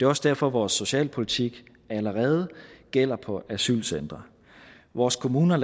også derfor vores socialpolitik allerede gælder på asylcentrene vores kommuner